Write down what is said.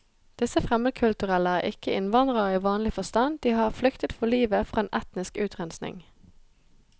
Disse fremmedkulturelle er ikke innvandrere i vanlig forstand, de har flyktet for livet fra en etnisk utrenskning.